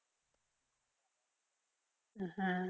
হ্যাঁ